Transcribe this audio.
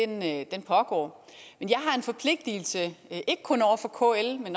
den dialog pågår jeg har en forpligtelse ikke kun over for kl men